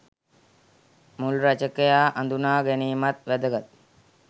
මුල් රචකයා අඳුණා ගැනීමත් වැදගත්!